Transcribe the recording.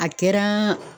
A kɛra